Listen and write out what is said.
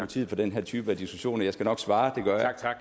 tid på den her type af diskussioner jeg skal nok svare det gør jeg